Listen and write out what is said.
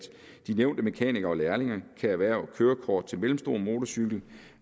de nævnte mekanikere og lærlinge kan erhverve kørekort til mellemstor motorcykel